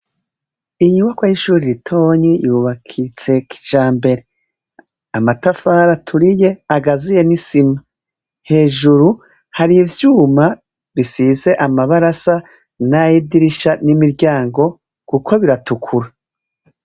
Inyubako y'ishuri ritoyi yubakitse kijambere matafari aturiye agazuye n'isima hejuru hari ivyuma bisize amabara asa nayidirisha nayimiryango kuko biratukura.